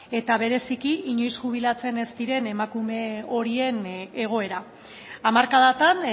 eta bereziki inoiz jubilatzen ez diren emakume horien egoera hamarkadatan